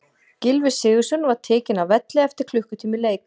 Gylfi Sigurðsson var tekinn af velli eftir klukkutíma leik.